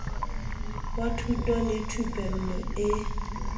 wa thuto le thupello e